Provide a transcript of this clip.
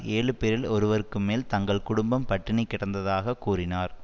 ஏழு பேரில் ஒருவருக்கு மேல் தங்கள் குடும்பம் பட்டினி கிடந்ததாக கூறினார்